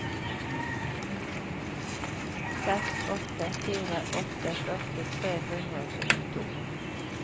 seks åtte fire åtte førti tre hundre og syttito